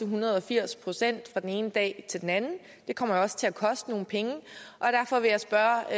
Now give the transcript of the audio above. hundrede og firs procent fra den ene dag til den anden det kommer også til at koste nogle penge og derfor vil jeg spørge